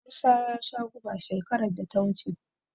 Musa ya sha guba shekarar da ta wuce.